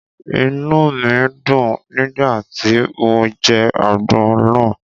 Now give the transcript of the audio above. Inúù mi dùn nígbà tí mo jẹ àgbon náà.